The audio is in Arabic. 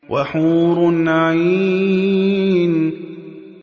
وَحُورٌ عِينٌ